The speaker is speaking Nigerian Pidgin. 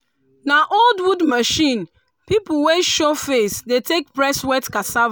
na old wood machine pipu wey show face dey take press wet cassava.